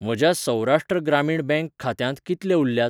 म्हज्या सौराष्ट्र ग्रामीण बँक खात्यांत कितले उरल्यात?